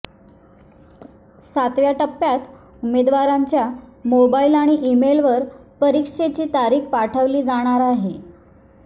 सातव्या टप्प्यात उमेदवारांच्या मोबाइल आणि ईमेलवर परीक्षेची तारीख पाठवली जाणार आहे